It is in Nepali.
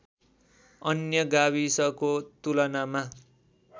अन्य गाविसको तुलनामा